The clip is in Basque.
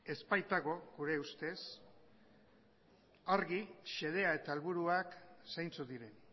ez baitago gure ustez argi xedea eta helburuak zeintzuk diren